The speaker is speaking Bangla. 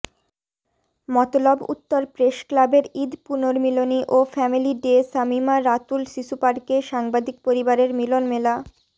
মতলব উত্তর প্রেসক্লাবের ঈদ পুনর্মিলনী ও ফ্যামিলি ডে শামিমা রাতুল শিশুপার্কে সাংবাদিক পরিবারের মিলনমেলা